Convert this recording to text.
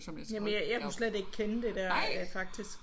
Jamen jeg kunne slet ikke kende det der faktisk